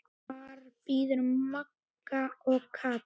Þar biðu Magga og Kata.